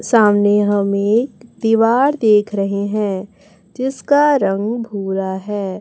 सामने हम एक दीवार देख रहे हैं जिसका रंग भूरा है।